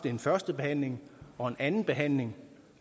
en førstebehandling og en andenbehandling